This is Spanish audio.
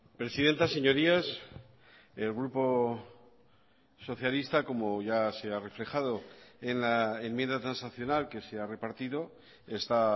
presidenta señorías el grupo socialista como ya se ha reflejado en la enmienda transaccional que se ha repartido está